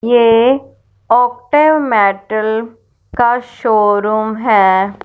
ये ओफ्टल मेटल का शो रूम है।